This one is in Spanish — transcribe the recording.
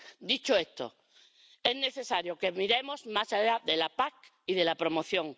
Dicho esto, es necesario que miremos más allá de la PAC y de la promoción